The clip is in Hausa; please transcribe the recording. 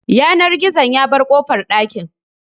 Yanar gizon ya bar kofar ɗakin